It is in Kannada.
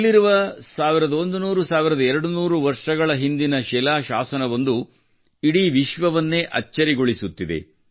ಇಲ್ಲಿರುವ 11001200 ವರ್ಷಗಳ ಹಿಂದಿನ ಕಲ್ಲಿನ ಶಾಸನವೊಂದು ಇಡೀ ವಿಶ್ವವನ್ನೇ ಅಚ್ಚರಿಗೊಳಿಸುತ್ತಿದೆ